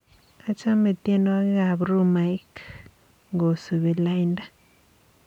Achame tyenwogikab rhumaik ngosubi lainda